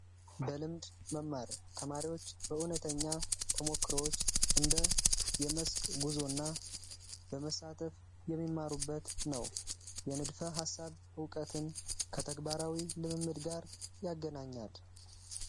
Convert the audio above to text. በልምድ መማር ተማሪዎች በእውነተኛ ተሞክሮዎች መስክ ጉዞና በመሳተፍ የሚማሩበት ነው የንድፈ ሃሳብ እውቀትን ከተግባራዊ ልምምድ ጋር ያገናኛል።